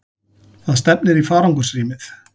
Það stefnir í farangursrýmið.